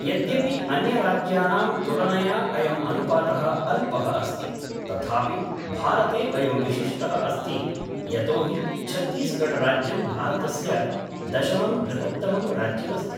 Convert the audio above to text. यद्यपि अन्यराज्यानां तुलनया अयम् अनुपातः अल्पः अस्ति, तथापि भारते अयं विशिष्टः अस्ति यतोहि छत्तीसगढ राज्यं भारतस्य दशमं बृहत्तमं राज्यम् अस्ति।